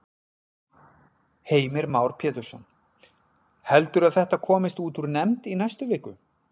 Heimir Már Pétursson: Heldurðu að þetta komist út úr nefnd í næstu viku?